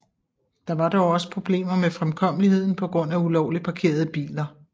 Der var dog også problemer med fremkommeligheden på grund af ulovligt parkerede biler